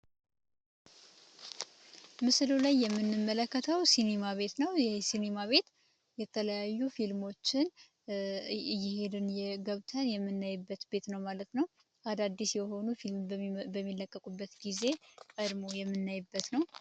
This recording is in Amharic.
ምስሉ ላይ የምንመለከተው ሲኒማ ቤት ነው ይህ ሲኒማ ቤት የተለያዩ ፊልሞችን ገብተን የምናይበት ፔትሮ ማለት ነው አዳዲስ የሆኑ ፊልሞች በሚለቀቁበት ጊዜ የምናይበት ነው።